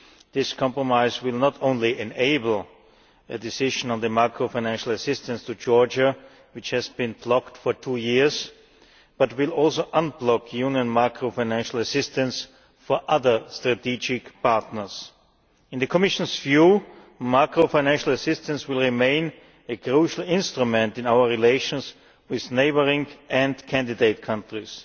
This compromise will not only enable a decision on the macro financial assistance to Georgia, which has been blocked for two years, but will also unblock Union macro financial assistance for other strategic partners. In the Commission's view, macro financial assistance will remain a crucial instrument in our relations with neighbouring and candidate countries.